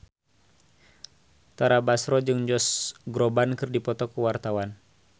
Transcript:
Tara Basro jeung Josh Groban keur dipoto ku wartawan